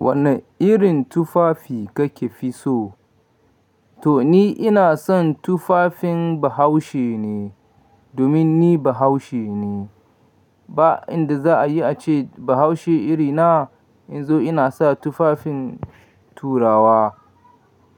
Wane irin tufafi kake fi so? To ni ina son tufafin Bahaushe ne, domin ni Bahaushe ne. Ba inda za a yi a ce Bahaushe iri na, in zo ina sa tufafin Turawa.